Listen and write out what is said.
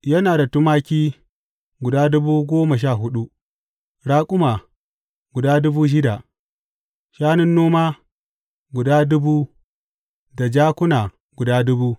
Yana da tumaki guda dubu goma sha huɗu, raƙuma guda dubu shida; shanun noma guda dubu da jakuna guda dubu.